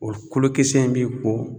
O kolo kisɛ in bi ko